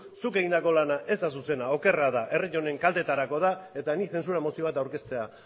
zuk egindako lana ez da zuzena okerra da herri honen kaltetarakoa da eta nik zentsura mozioa aurkeztea